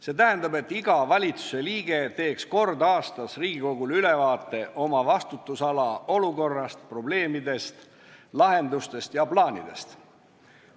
See tähendab, et iga valitsusliige teeks kord aastas Riigikogule ülevaate oma vastutusala olukorrast, probleemidest, lahendustest ja plaanidest.